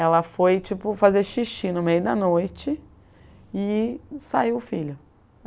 Ela foi, tipo, fazer xixi no meio da noite, e saiu o filho.